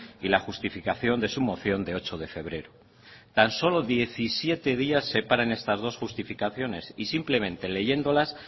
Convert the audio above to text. y la justificación de su moción de ocho de febrero tan solo diecisiete días separan estas dos justificaciones y simplemente leyéndolas